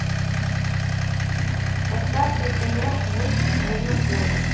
поставь ка кино вождь краснокожих